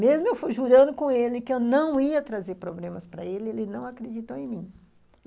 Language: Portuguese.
Mesmo eu fui jurando com ele que eu não ia trazer problemas para ele, ele não acreditou em mim.